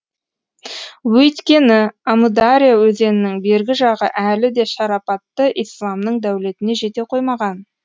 өйткені әмудария өзенінің бергі жағы әлі де шарапатты исламның дәулетіне жете қоймаған